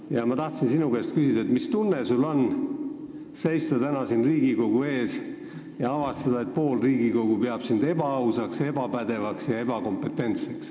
Tahan küsida sinu käest, mis tunne on sul seista täna siin Riigikogu ees ja avastada, et pool Riigikogu peab sind ebaausaks, ebapädevaks ja ebakompetentseks.